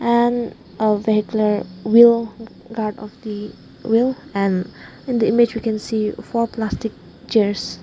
and a vehicler will guard of the will and and the image we can see four plastic chairs.